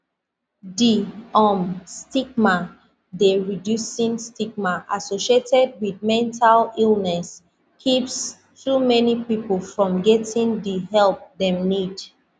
di um stigma dey reducing stigma associated wit mental illness keeps too many pipo from getting di help dem need